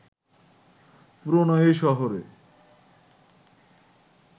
পুরোনো এই শহরে